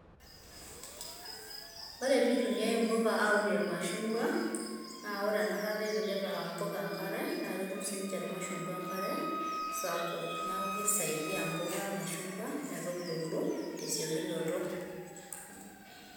ore pitumiyai impuka aunie ilmashungua, na ore ena kata ipikita impuka enkare ,na ketum sininche ilmashungwa enkare sapuk, niaku kisaidia impuka ilmashugwa ,metubulu te siokinoto.